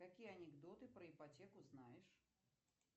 какие анекдоты про ипотеку знаешь